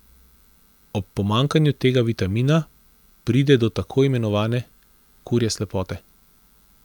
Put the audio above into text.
Ob pomanjkanju tega vitamina pride do tako imenovane kurje slepote.